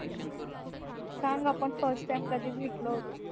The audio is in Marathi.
सांग आपण first time कधी भेटलो होतो